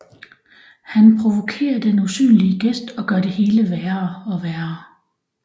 Han provokerer den usynlige gæst og gør det hele værre og værre